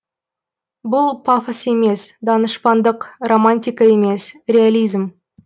бұл пафос емес данышпандық романтика емес реализм